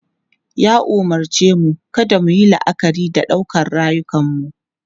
Ya umarce mu kada mu yi la'akari da ɗaukar rayukanmu.